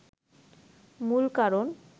মূল কারণ